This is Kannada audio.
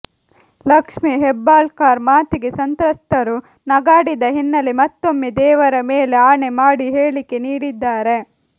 ಲಕ್ಷ್ಮೀ ಹೆಬ್ಬಾಳ್ಕರ್ ಮಾತಿಗೆ ಸಂತ್ರಸ್ತರು ನಗಾಡಿದ ಹಿನ್ನಲೆ ಮತ್ತೊಮ್ಮೆ ದೇವರ ಮೇಲೆ ಆಣೆ ಮಾಡಿ ಹೇಳಿಕೆ ನೀಡಿದ್ದಾರೆ